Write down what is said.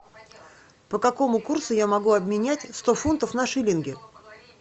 по какому курсу я могу обменять сто фунтов на шиллинги